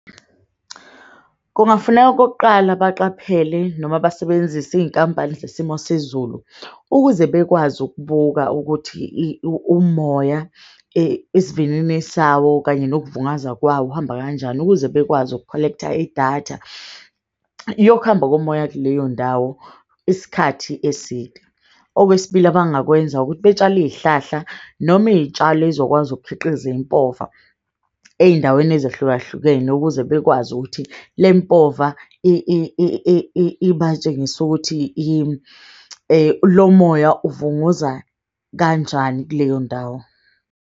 Kungafuneka okokuqala, baqaphele noma basebenzise iy'nkambali zesimo sezulu. Ukuze bekwazi ukubuka ukuthi umoya isivinini sawo kanye nokuvungaza kwawo uhamba kanjani. Ukuze bekwazi uku-collector idatha yokuhamba komoya kuleyo ndawo isikhathi eside. Okwesibili abangakwenza ukuthi betshale iy'hlahla noma iy'tshalo ey'zokwazi ukukhiqiza impova ey'ndaweni ahlukahlukene. Ukuze bekwazi ukuthi le mpova ibatshengise ukuthi lo moya uvunguza kanjani kuleyo ndawo.